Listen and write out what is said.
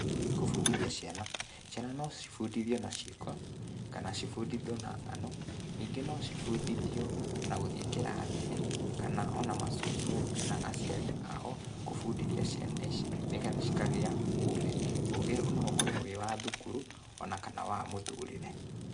Kũbundithia ciana, ciana no cibundithio na ciĩko kana cibundithio na ng'ano, ningĩ no cibundithio na gũthiĩ kĩrathi-inĩ, kana ona ma cũcũ we kana aciari ao, kũbundithia ciana ici nĩgetha cikagia ũgĩ, ũgĩ no ũkorwo wĩ wa thukuru o na kana wa mũtũrĩre.